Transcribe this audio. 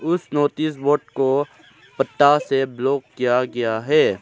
उस notice board को पत्ता से ब्लॉक किया गया है।